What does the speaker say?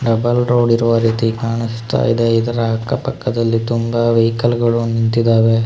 Double road ಇರುವ ರೀತಿ ಕಾಣಿಸುತ್ತ ಇದೆ ಇದರ ಅಕ್ಕಪಕ್ಕದಲ್ಲಿ ತುಂಬಾ ವೆಹಿಕಲ್ ಗಳು ನಿಂತಿದಾವೆ.